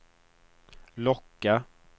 locka